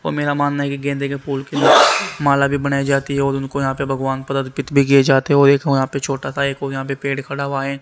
और मेरा मानना की गेंदे के फूल की माला भी बनाई जाती है और उनको यहां पे भगवान पर अर्पित भी किए जाते वो एक वहां पे छोटा सा एक और यहां पे पेड़ खड़ा हुआ है।